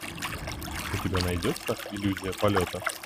у тебя найдется иллюзия полета